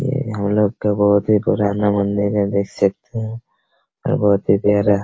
ये हम लोग का बहुत ही पुराना मंदिर है देख सकते हैं और बहुत ही प्यारा --